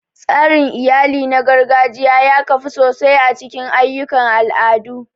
Tsarin iyali na gargajiya ya kafu sosai a cikin ayyukan al'adu.